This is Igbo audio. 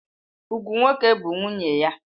Ugwu nwoke bụ nwunye ya.